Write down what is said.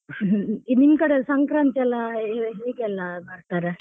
ನಿಮ್ ಕಡೆಲ್ ಸಂಕ್ರಾಂತಿಯೆಲ್ಲ ಹೇಗೆಯೆಲ್ಲ ಮಾಡ್ತಾರೆ?